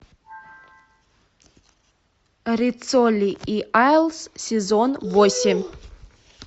риццоли и айлс сезон восемь